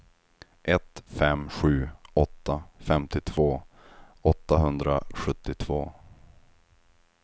ett fem sju åtta femtiotvå åttahundrasjuttiotvå